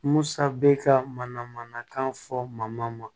Musa bɛ ka mana manakan fɔ ma